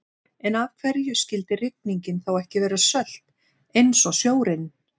En af hverju skyldi rigningin þá ekki vera sölt eins og sjórinn?